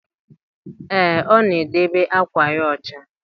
Ee, ọ na-edebe àkwà ya ọcha.